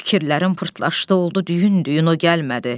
Fikirlərim pırtlaşdı, oldu düyün-düyün, o gəlmədi.